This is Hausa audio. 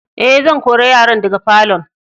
Eh, zan kore yaran daga falo'n.